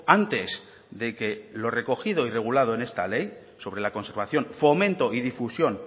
antes de que lo recogido y regulado en esta ley sobre la conservación fomento y difusión